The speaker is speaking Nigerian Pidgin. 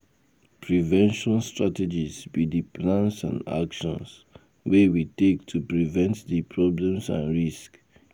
Prevention strategies be di plans and actions wey we take to prevent di problems and risks.